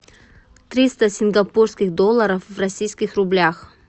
триста сингапурских долларов в российских рублях